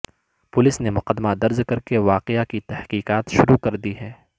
police نے مقدمہ درج کرکے واقعہ کی تحقیقات شروع کردی ہیں